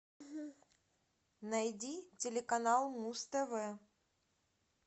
найди телеканал муз тв